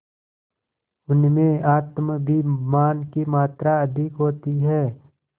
उनमें आत्माभिमान की मात्रा अधिक होती है